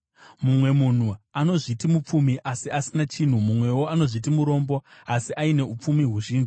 Mumwe munhu anozviti mupfumi, asi asina chinhu; mumwewo anozviti murombo, asi aine upfumi huzhinji.